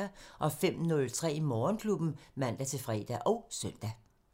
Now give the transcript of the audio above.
05:03: Morgenklubben (man-fre og søn)